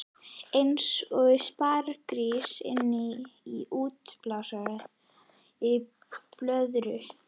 Eins og sparigrís innan í útblásinni blöðru.